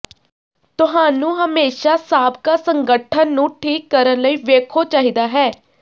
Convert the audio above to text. ਤੁਹਾਨੂੰ ਹਮੇਸ਼ਾ ਸਾਬਕਾ ਸੰਗਠਨ ਨੂੰ ਠੀਕ ਕਰਨ ਲਈ ਵੇਖੋ ਚਾਹੀਦਾ ਹੈ